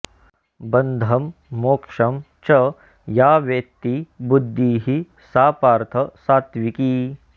बन्धम् मोक्षम् च या वेत्ति बुद्धिः सा पार्थ सात्त्विकी